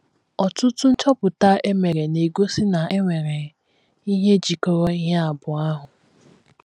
Ọtụtụ nchọpụta e mere na - egosi na e nwere ihe jikọrọ ihe abụọ ahụ.